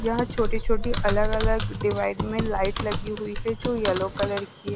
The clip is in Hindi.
यहां छोटी-छोटी अलग-अलग डिवाइड में लाइट लगी हुई है जो येलो कलर की--